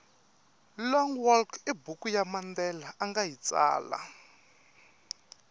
long walk ibhuku yamandela angayitsala